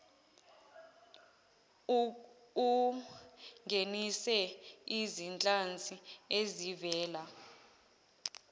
ungenise izinhlanzi ezivela